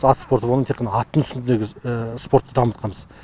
ат спорты болғандықтан тек қана аттың үстінде біз спортты дамытқанбыз